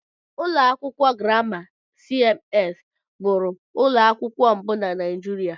Ụlọ akwụkwọ Grama CMS bụụrụ ụlọ akwụkwọ mbụ na Naijiria.